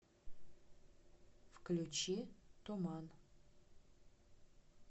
включи туман